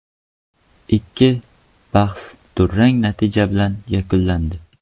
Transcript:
Ikki bahs durang natija bilan yakunlandi.